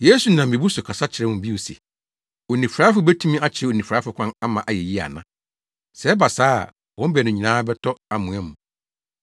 Yesu nam mmebu so kasa kyerɛɛ wɔn bio se, “Onifuraefo betumi akyerɛ onifuraefo kwan ama ayɛ yiye ana? Sɛ ɛba saa a, wɔn baanu nyinaa bɛtɔ amoa mu.